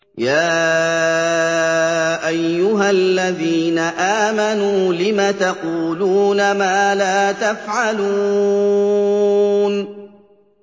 يَا أَيُّهَا الَّذِينَ آمَنُوا لِمَ تَقُولُونَ مَا لَا تَفْعَلُونَ